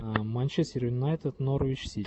манчестер юнайтед норвич сити